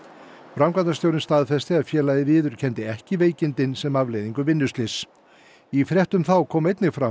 framkvæmdastjórinn staðfesti að félagið viðurkenndi ekki veikindin sem afleiðingu vinnuslyss í fréttum þá kom einnig fram